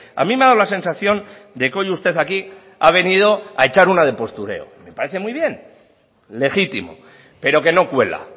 a mí me ha dado la sensación de que hoy usted aquí ha venido a echar una de postureo me parece muy bien legítimo pero que no cuela